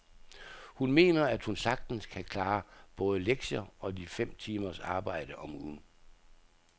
Hun mener, at hun sagtens kan klare både lektier og de fem timers arbejde om ugen.